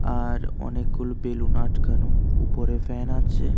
আর অনেকগুলো বেলুন আটকানো উপরে ফ্যান আছে।